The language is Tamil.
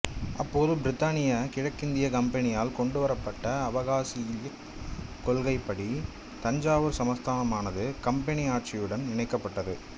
அப்போது பிரித்தானிய கிழக்கிந்திய கம்பெனியால் கொண்டுவரப்பட்ட அவகாசியிலிக் கொள்கைப்படி தஞ்சாவூர் சமஸ்தானமானது கம்பெனி ஆட்சியுடன் இணைக்கப்பட்டது